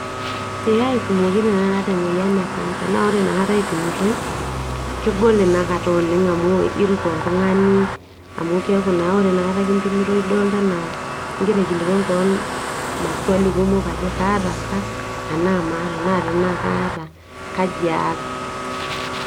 Eeh aipimoki tenaaa aata emoyian e cancer naa ore nakata aipimitoi, kegol inakata oleng amu irut oltung'ani amu keaku naa ore nakata kimpimitoi idolita anaa igira aikilikwan kewan [cd ]maswali kumok ajo kaata sa anaa maata naa tenaa kaata, kaji aas?